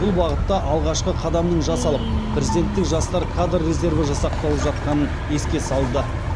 бұл бағытта алғашқы қадамның жасалып президенттік жастар кадр резерві жасақталып жатқанын еске салды